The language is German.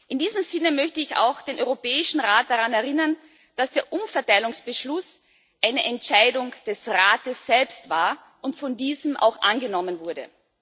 In diesem Sinne möchte ich auch den Europäischen Rat daran erinnern, dass der Umverteilungsbeschluss eine Entscheidung des Rates selbst war und von diesem auch angenommen wurde.